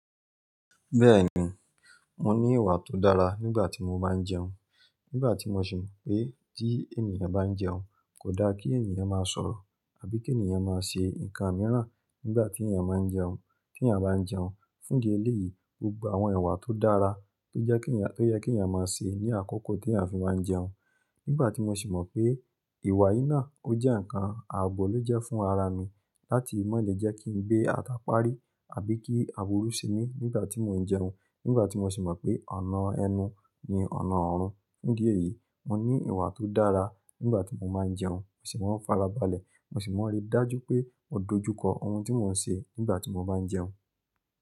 Bẹ́ẹ̀ni, mo ní ìwà tó dára nígbà tí mo bá ń jẹun. Nígbà tí mo sì mọ̀ pé tí ènìyàn bá ń jẹun, kò dá kí ènìyàn máa sọ̀rọ̀ àbí kí ènìyàn máa ṣe nǹkan mìíràn nígbà tí ènìyàn máa ń jẹun. Tí ènìyàn bá ń jẹun, fún di ẹlẹ́yìí, gbogbo àwọn ìwà tó dára tó yẹ kí ènìyàn máa ṣe ní àkókò tí à ń fi máa ń jẹun. Nígbà tí mo sì mọ̀ pé ìwà yìí náà ó jẹ́ ǹkan ààbò ló jẹ́ fún ara mi láti má le jẹ́ kí n gbé ata parí àbí kí àwọ̀ rú se mi nígbà tí mò ń jẹun. Nígbà tí mo sì mọ̀ pé ọ̀nà ẹnu ni ọ̀nà ọ̀run. Ní díẹ̀ yìí, mo ní ìwà tó dára nígbà tí mo máa ń jẹun. Mo sì máa ń fara balẹ̀. Mo sì máa ń rí dájú pé mò dojú kọ ohun tí mò ń ṣe nígbà tí mo bá ń jẹun.